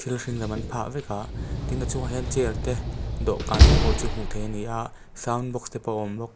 a hring lam an pha vek a tin a chung ah hian chair te dawhkan te pawh chu hmu thei a ni a sound box te pawh a awm bawk.